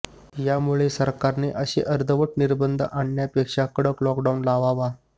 यामुळे सरकारने असे अर्धवट निर्बंध आणण्यापेक्षा कडक लॉकडाउन लावावा